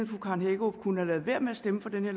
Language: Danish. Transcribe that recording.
fru karen hækkerup kunne have ladet være med at stemme for det